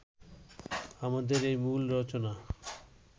আমাদের এই মূল রচনা